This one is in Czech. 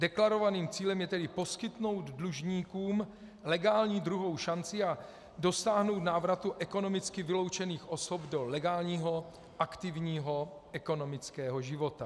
Deklarovaným cílem je tedy poskytnout dlužníkům legální druhou šanci a dosáhnout návratu ekonomicky vyloučených osob do legálního aktivního ekonomického života.